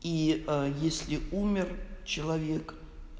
и если умер человек